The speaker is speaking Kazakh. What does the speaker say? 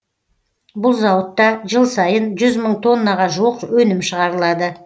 бұл зауытта жыл сайын жүз мың тоннаға жуық өнім шығарылады